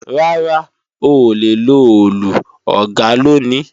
Rárá, oòlè lo Òòlù, Ọ̀gá ló ní